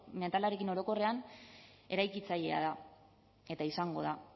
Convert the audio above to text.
mentalarekin orokorrean eraikitzailea da eta izango da